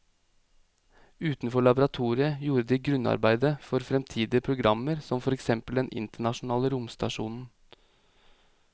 Utenfor laboratoriet gjorde de grunnarbeidet for fremtidige programmer som for eksempel den internasjonale romstasjonen.